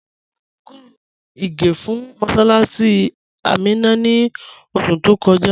À rà ọ́gọ́run ìgè̩ fún mọ̀ssálássì Àmínà ní oṣù tó kọ́jà